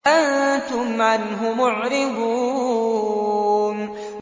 أَنتُمْ عَنْهُ مُعْرِضُونَ